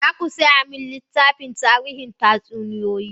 Za ku saya min littafin tarihin tatsuniyoyi?